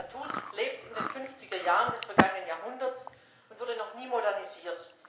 Das Statut lebt in den 50er Jahren des vergangenen Jahrhunderts und wurde noch nie modernisiert.